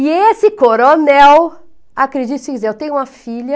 E esse coronel, acredite se quiser, eu tenho uma filha,